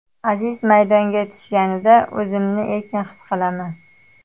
Aziz maydonga tushganida, o‘zimni erkin his qilaman.